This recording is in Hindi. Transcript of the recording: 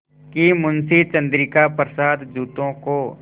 कि मुंशी चंद्रिका प्रसाद जूतों को